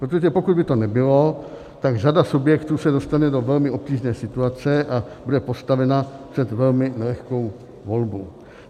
Protože pokud by to nebylo, tak řada subjektů se dostane do velmi obtížné situace a bude postavena před velmi nelehkou volbu.